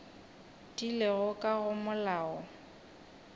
di lego ka go molao